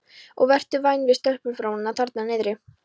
Og vertu væn við stelpunóruna þarna niðri.